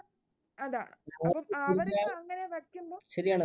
അതാണ് , ആ പറയൂ